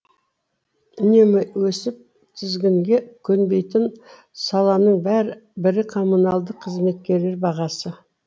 үнемі өсіп тізгінге көнбейтін саланың бірі коммуналдық қызметкерлер бағасы